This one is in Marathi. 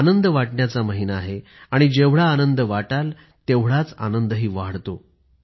आनंद वाटण्याचा महिना आहे आणि जेवढा आनंद वाटाल तेवढाच आनंदही वाढतो